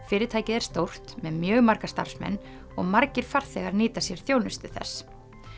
fyrirtækið er stórt með mjög marga starfsmenn og margir farþegar nýta sér þjónustu þess